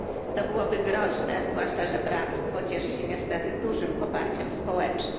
To byłoby groźne, zwłaszcza że Bractwo cieszy się niestety dużym poparciem społecznym.